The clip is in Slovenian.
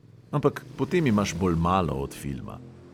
Ampak potem imaš bolj malo od filma.